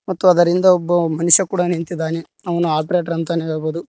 ಮತ್ತು ಅದರಿಂದ ಒಬ್ಬ ಮನುಷ ಕೂಡ ನಿಂತಿದಾನೆ ಅವನು ಆಪರೆಟರ್ ಅಂತನೇ ಹೇಳಬೊದು.